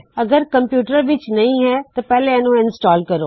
ਅਗਰ ਇਹ ਕਮਪਯੂਟਰ ਵਿੱਚ ਨਹੀ ਹੋਵੇ ਤੇ ਪਹਲੇ ਇਸ ਨੂੰ ਸਥਾਪਿਤ ਕਰੋ